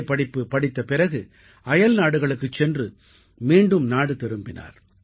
படிப்பு படித்த பிறகு அயல்நாடுகளுக்குச் சென்று மீண்டும் நாடு திரும்பினார்